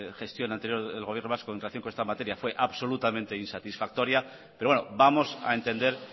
gestión anterior del gobierno vasco en relación con esta materia fue absolutamente insatisfactoria pero bueno vamos a entender